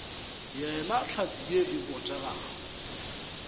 yena hlatse ye e botegago